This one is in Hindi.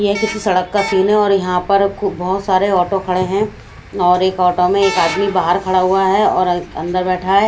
यह किसी सड़क का सीन है और यहां पर खूब बहुत सारे ऑटो खड़े हैं और एक ऑटो में एक आदमी बाहर खड़ा हुआ है और अंदर बैठा है।